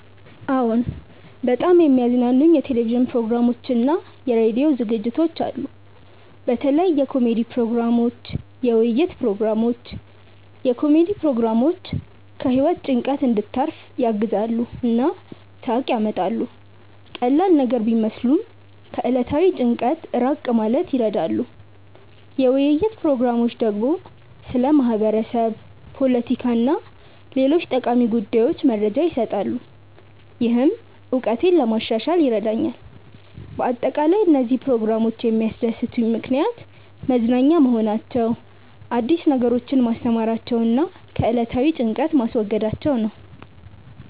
አዎን፣ በጣም የሚያዝናኑኝ የቴሌቪዥን ፕሮግራሞችና የራዲዮ ዝግጅቶች አሉ። በተለይ የኮሜዲ ፕሮግራሞች፣ የውይይት ፕሮግራሞች። የኮሜዲ ፕሮግራሞች ከህይወት ጭንቀት እንድታርፍ ያግዛሉ እና ሳቅ ያመጣሉ። ቀላል ነገር ቢመስሉም ከዕለታዊ ጭንቀት ራቅ ማለት ይረዳሉ። የውይይት ፕሮግራሞች ደግሞ ስለ ማህበረሰብ፣ ፖለቲካ እና ሌሎች ጠቃሚ ጉዳዮች መረጃ ይሰጣሉ፣ ይህም እውቀቴን ለማሻሻል ይረዳኛል በአጠቃላይ፣ እነዚህ ፕሮግራሞች የሚያስደስቱኝ ምክንያት መዝናኛ መሆናቸው፣ አዲስ ነገሮችን ማስተማራቸው እና ከዕለታዊ ጭንቀት ማስወገዳቸው ነው